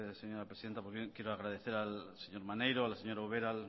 señora presidenta pues bien quiero agradecer al señor maneiro a la señora ubera